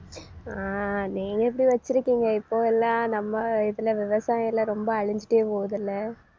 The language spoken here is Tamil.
அஹ் நீங்க இப்படி வச்சிருக்கீங்க இப்போ எல்லாம் நம்ம இதுல விவசாயம் எல்லாம் ரொம்ப அழிஞ்சுட்டே போகுதுல்ல